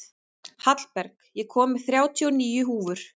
Hallberg, ég kom með þrjátíu og níu húfur!